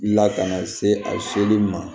Lakana se a seli ma